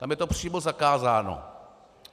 Tam je to přímo zakázáno.